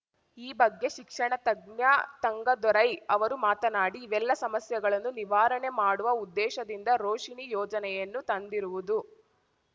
ಈ ಬಗ್ಗೆ ಶಿಕ್ಷಣ ತಜ್ಞ ತಂಗದೊರೈ ಅವರು ಮಾತನಾಡಿ ಇವೆಲ್ಲ ಸಮಸ್ಯೆಗಳನ್ನು ನಿವಾರಣೆ ಮಾಡುವ ಉದ್ದೇಶದಿಂದ ರೋಶಿನಿ ಯೋಜನೆಯನ್ನು ತಂದಿರುವುದು